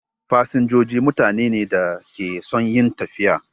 Fasinjoji mutane ne da ke son yin tafiya.